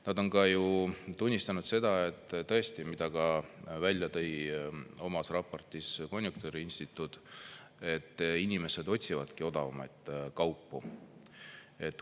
Nad on ka tunnistanud seda, et tõesti, mida ka välja tõi oma raportis konjunktuuriinstituut, et inimesed otsivadki odavamaid kaupu.